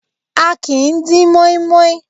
A kìí dín moi moi.